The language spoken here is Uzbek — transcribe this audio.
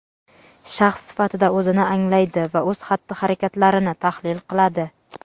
shaxs sifatida o‘zini anglaydi va o‘z xatti-harakatlarini tahlil qiladi.